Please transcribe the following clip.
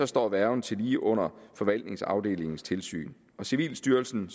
står værgen tillige under forvaltningsafdelingens tilsyn civilstyrelsen